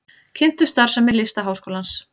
Kynntu starfsemi Listaháskólans